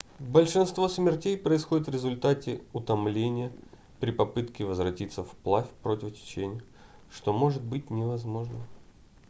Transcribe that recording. большинство смертей происходит в результате утомления при попытке возвратиться вплавь против течения что может быть невозможным